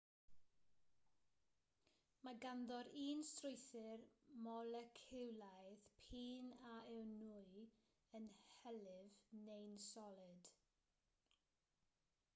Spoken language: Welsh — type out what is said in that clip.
mae ganddo'r un strwythur moleciwlaidd p'un a yw'n nwy yn hylif neu'n solid